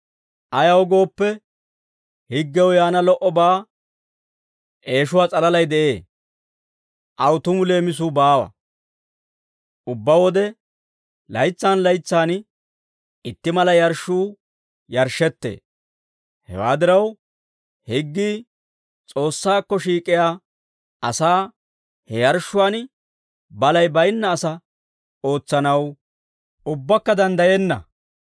Ayaw gooppe, higgew yaana lo"obaa eeshuwaa s'alalay de'ee; aw tumu leemisuu baawa. Ubbaa wode laytsan laytsan itti mala yarshshuu yarshshettee; hewaa diraw, higgii S'oossaakko shiik'iyaa asaa he yarshshuwaan balay baynna asaa ootsanaw ubbaakka danddayenna.